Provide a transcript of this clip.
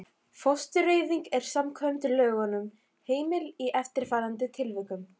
Fóstureyðing er samkvæmt lögunum heimil í eftirfarandi tilvikum